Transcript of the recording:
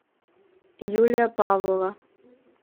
юлия павлова